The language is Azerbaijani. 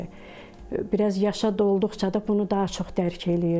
Bir az yaşa dolduqca da bunu daha çox dərc eləyirdi.